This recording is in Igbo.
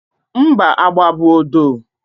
mba, agba bụ odo